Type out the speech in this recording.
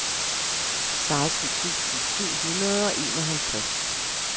seksten tusind syv hundrede og enoghalvtreds